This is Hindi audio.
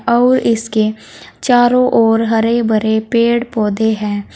और इसके चारों ओर हरे भरे पेड़ पौधे हैं।